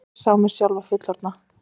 Ég sá sjálfa mig fullorðna.